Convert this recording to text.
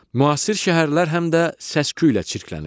Müasir şəhərlər həm də səs-küylə çirklənir.